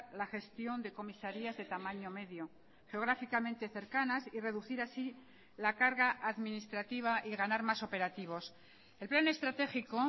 la gestión de comisarías de tamaño medio geográficamente cercanas y reducir así la carga administrativa y ganar más operativos el plan estratégico